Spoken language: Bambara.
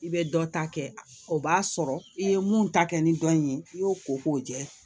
I bɛ dɔ ta kɛ o b'a sɔrɔ i ye mun ta kɛ ni dɔnni ye i y'o ko k'o jɛ